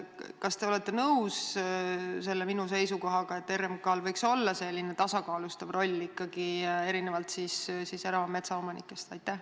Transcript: Kas te olete nõus minu seisukohaga, et RMK-l võiks olla tasakaalustav roll erinevalt erametsaomanikest?